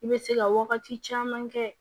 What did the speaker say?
I bɛ se ka wagati caman kɛ